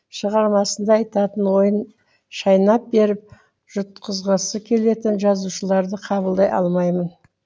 шығармасында айтатын ойын шайнап беріп жұтқызғысы келетін жазушыларды қабылдай алмаймын